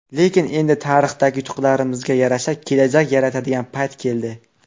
Lekin endi tarixdagi yutuqlarimizga yarasha kelajak yaratadigan payt keldi.